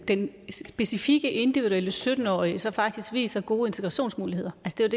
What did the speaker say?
den specifikke individuelle sytten årige så faktisk viser gode integrationsmuligheder